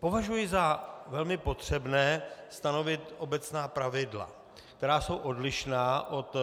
Považuji za velmi potřebné stanovit obecná pravidla, která jsou odlišná od